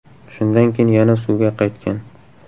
Shundan keyin yana suvga qaytgan.